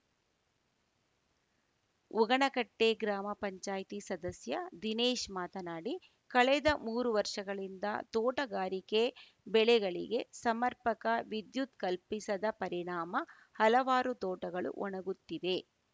ಉಗಣೆಕಟ್ಟೆಗ್ರಾಮ ಪಂಚಾಯ್ತಿ ಸದಸ್ಯ ದಿನೇಶ್‌ ಮಾತನಾಡಿ ಕಳೆದ ಮೂರು ವರ್ಷಗಳಿಂದ ತೋಟಗಾರಿಕೆ ಬೆಳೆಗಳಿಗೆ ಸಮರ್ಪಕ ವಿದ್ಯುತ್‌ ಕಲ್ಪಿಸದ ಪರಿಣಾಮ ಹಲವಾರು ತೋಟಗಳು ಒಣಗುತ್ತಿವೆ